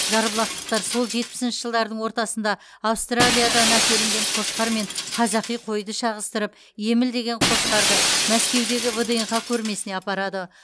жарбұлақтықтар сол жетпісінші жылдардың ортасында аустралиядан әкелінген қошқармен қазақи қойды шағыстырып еміл деген қошқарды мәскеудегі вднх көрмесіне апарады